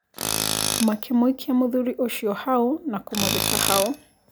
Makĩmũikia mũthuri ũcio hau na kũmũthika hau.